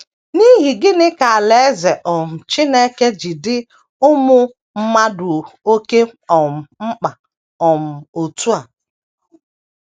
N’ihi gịnị ka Alaeze um Chineke ji dị ụmụ mmadụ oké um mkpa um otú a?